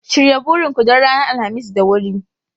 Shirya burin ku don ranar Alhamis da wuri!